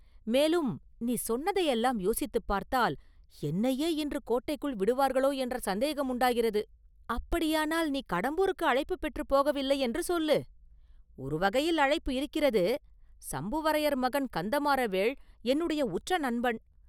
மேலும், நீ சொன்னதையெல்லாம் யோசித்துப் பார்த்தால் என்னையே இன்று கோட்டைக்குள் விடுவார்களோ என்ற சந்தேகம் உண்டாகிறது.” “அப்படியானால், நீ கடம்பூருக்கு அழைப்புப் பெற்று போகவில்லையென்று சொல்லு!” “ஒருவகையில் அழைப்பு இருக்கிறது, சம்புவரையர் மகன் கந்தமாறவேள் என்னுடைய உற்ற நண்பன்.